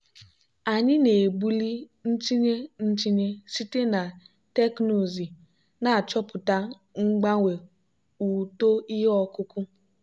anyị na-ebuli ntinye ntinye site na teknụzụ na-achọpụta mgbanwe uto ihe ọkụkụ.